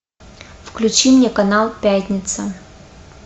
включи мне канал пятница